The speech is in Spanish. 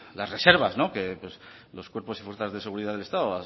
las reservas que los cuerpos y fuerzas de seguridad del estado